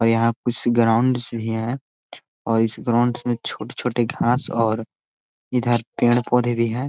और यहाँ कुछ ग्राउंड्स भी है और इस ग्राउंड्स में छोटे-छोटे घास और इधर पेड़-पौधे भी है।